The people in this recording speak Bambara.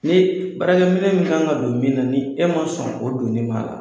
Ne barakɛminɛ min kan ka don min na n'i e ma sɔn k'o don o la